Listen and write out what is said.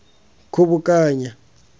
kgobokanya